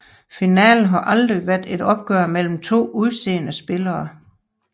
Finalen har aldrig været et opgør mellem to useedede spillere